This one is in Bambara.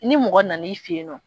Ni mɔgɔ nan'i fɛ yen nɔ